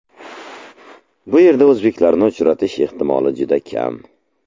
Bu yerda o‘zbeklarni uchratish ehtimoli juda kam.